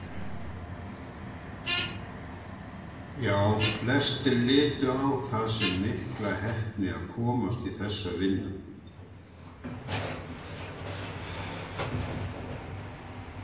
Já, flestir litu á það sem mikla heppni að komast í þessa vinnu.